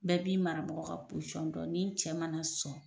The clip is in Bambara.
Bɛɛ b'i marabagaw ka dɔn ni cɛ mana son.